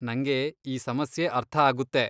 ನಂಗೆ ಈ ಸಮಸ್ಯೆ ಅರ್ಥ ಆಗುತ್ತೆ.